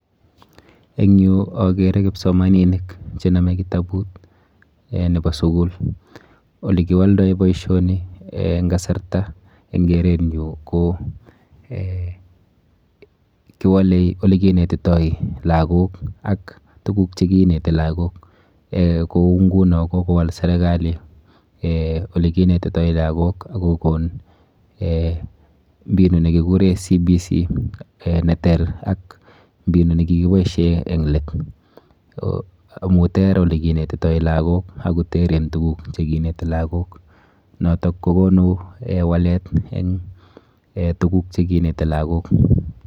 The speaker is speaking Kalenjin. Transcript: Eng yu akere kipsomaninik chenome kitabut um nepo sukul. Olekiwoldoi boisioni um eng kasarta eng kerenyu ko um kiwole olekinetitoi lagok ak tuguk chekineti lagok um kou nguno kokowal serikali um olekinetitoi lagok ak kokon um mbinu nekikure competence based curriculum ne ter ak mbinu nikikiboishe eng let amu ter olekinetitoi lagok ak koteren tuguk chekineti lagok nokok kokonu walet eng um tuguk chekineti lagok.